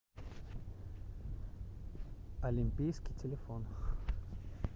олимпийский телефон